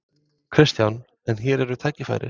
Kristján: En hér eru tækifæri?